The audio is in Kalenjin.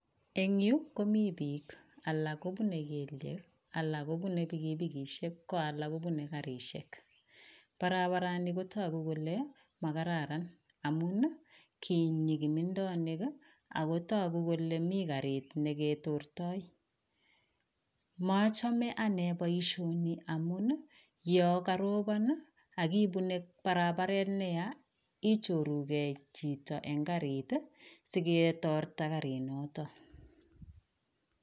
Eng yu komi piik, alak kobune kelyek, alak kobune pikipikisiek, ko alak kobune garisiek. Barabarani kotuku kole makararan amun, kinyi kimindonik ak kotoku kole mi garit ne ketortoi, mochome ane boisioni amun ii, yo karobon ii ak ipune barabaret ne ya, ichorugei chito eng garit ii siketorta gari noto.